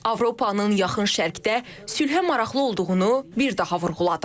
Avropanın Yaxın Şərqdə sülhə maraqlı olduğunu bir daha vurğuladım.